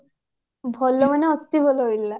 ଭଲ ମାନେ ଅତି ଭଲ ହେଇଥିଲା